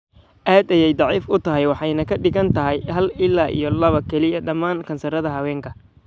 Aad ayey dhif u tahay waxayna ka dhigan tahay hal ila iyo lawa kaliya dhammaan kansarrada haweenka.